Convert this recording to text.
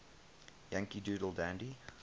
yankee doodle dandy